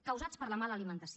causats per la mala alimentació